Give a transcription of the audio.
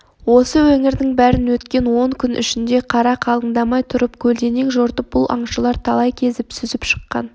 осы өңірдің бәрін өткен он күн ішінде қар қалыңдамай тұрып көлденең жортып бұл аңшылар талай кезіп сүзіп шыққан